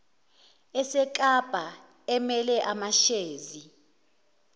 esekapa emele amashezi